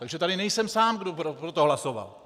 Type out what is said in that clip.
Takže tady nejsem sám, kdo pro to hlasoval.